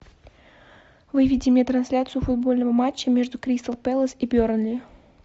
выведи мне трансляцию футбольного матча между кристал пэлас и бернли